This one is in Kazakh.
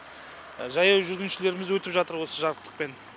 жаяу жүргіншілеріміз өтіп жатыр осы жарықтықпен